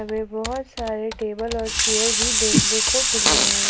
इसमें बहुत सारे टेबल और चेयर भी देखने को मिल रहे हैं।